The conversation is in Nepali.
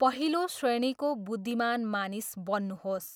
पहिलो श्रेणीको बुद्धिमान मानिस बन्नुहोस्।